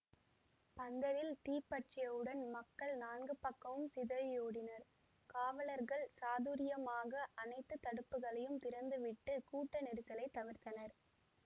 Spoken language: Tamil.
பந்தலில் தீ பற்றியவுடன் மக்கள் நான்கு பக்கமும் சிதறியோடினர் காவலர்கள் சாதுர்யமாக அனைத்து தடுப்புகளையும் திறந்துவிட்டு கூட்ட நெரிசலை தவிர்த்தனர்